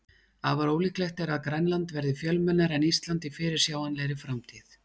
Afar ólíklegt er að Grænland verði fjölmennara en Ísland í fyrirsjáanlegri framtíð.